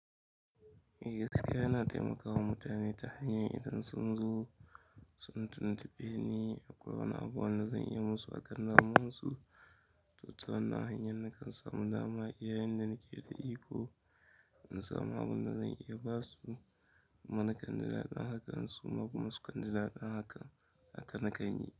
Gaskiya ina taimakon mutane ta hanyar idan sun zo, sun tuntuɓe ni akwai wani abu wanda zan iya musu, akan namusu. To ta wannan hanyar nakan samu dama iya inda nake da iko in samu abun da zan iya basu. Kuma nakan ji daɗin hakan suma kuma sukan ji daɗin hakan. Haka na kan yi.